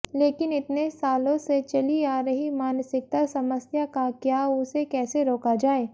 लेकिन इतने सालों से चली आ रही मानसिकता समस्या का क्या उसे कैसे रोका जाए